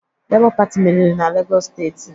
Lebọ Pati merịrị na Legọs steeti